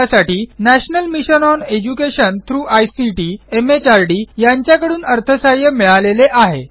यासाठी national mission on education through ICT MHRD यांच्याकडून अर्थसहाय्य मिळालेले आहे